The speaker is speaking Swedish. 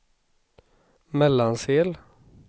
Mellansel